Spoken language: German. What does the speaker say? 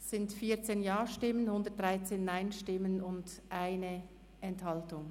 Es sind 14 Ja-, 113 Nein-Stimmen und 1 Enthaltung.